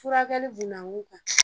Furakɛli bunankun kan